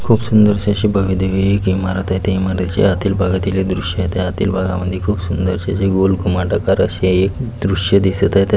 खूप सुंदरशी अशी भव्यदिव्य एक इमारत आहे त्या इमारतीच्या आतील भागातील दृश्य आहे त्या आतील भागामध्ये खूप सुंदर अशी जे गोल घुमट आकार अशी एक दृश्य दिसत आहे त्या --